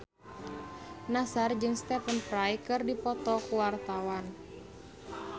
Nassar jeung Stephen Fry keur dipoto ku wartawan